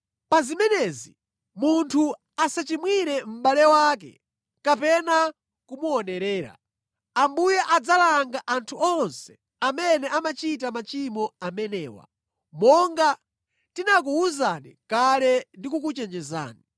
Pa zimenezi munthu asachimwire mʼbale wake kapena kumuonerera. Ambuye adzalanga anthu onse amene amachita machimo amenewa, monga tinakuwuzani kale ndi kukuchenjezani.